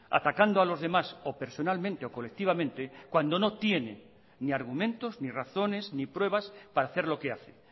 atacando a los demás o personalmente o colectivamente cuando no tiene ni argumentos ni razones ni pruebas para hacer lo que hace